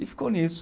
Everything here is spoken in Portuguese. E ficou nisso.